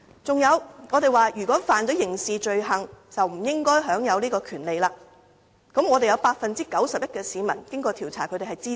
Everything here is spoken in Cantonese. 此外，我們提到如果該人干犯刑事罪行，便不應該享有這項權利，而調查結果顯示 ，91% 的市民對此也表示支持。